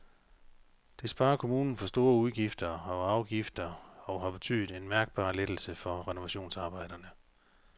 Det sparer kommunen for store udgifter og afgifter og har betydet en mærkbar lettelse for renovationsarbejderne.